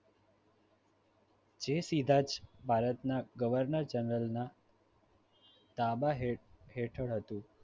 જે સીધાજ ભારતના ગવર્નર જનરલ ના તાંબા હે~હેઠળ હતું